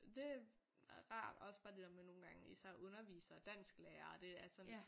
Det rart også bare det der med nogle gange især undervisere dansklærer det at sådan